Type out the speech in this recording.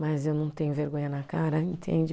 Mas eu não tenho vergonha na cara, entende?